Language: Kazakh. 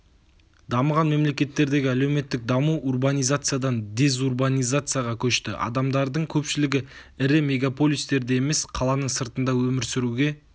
дамыған мемлекеттердегі әлеуметтік даму урбанизациядан дезурбанизацияға көшті адамдардың көпшілігі ірі мегаполистерде емес қаланың сыртында өмір сүруге